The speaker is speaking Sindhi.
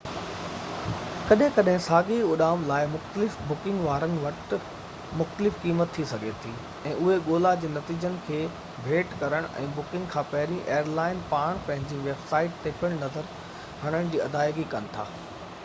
ڪڏهن ڪڏهن ساڳئي اڏام لاءِ مختلف بڪنگ وارن وٽ مختلف قيمت ٿي سگهي ٿي ۽ اهي ڳولا جي نتيجن کي ڀيٽ ڪرڻ ۽ بڪنگ کان پهرين ايئرلائن پاڻ پنهنجي ويب سائيٽ تي پڻ نظر هڻڻ جي ادائيگي ڪن ٿا